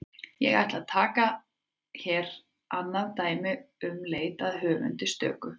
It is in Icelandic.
Ég ætla að taka hér annað dæmi um leit að höfundi stöku.